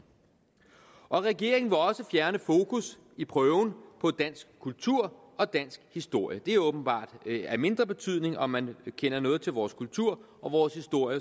regeringen vil også fjerne fokus i prøven på dansk kultur og dansk historie det er åbenbart af mindre betydning om man kender noget til vores kultur og vores historie